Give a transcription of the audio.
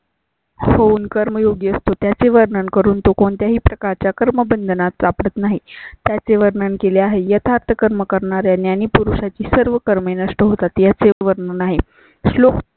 Phone कर्मयोगी असतो. त्याचे वर्णन करून तो कोणत्याही प्रकारच्या कर्मबंधनात सापडत नाही. त्याचे वर्णन केले आहे. येतात कर्म करणारा आणि पुरुषा ची सर्व कर्मे नष्ट होतात त्याचे वर्णन नाही. श्लोक